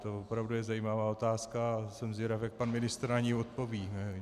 To opravdu je zajímavá otázka a jsem zvědav, jak pan ministr na ni odpoví.